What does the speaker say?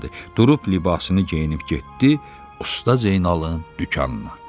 Durub libasını geyinib getdi usta Zeynalın dükanına.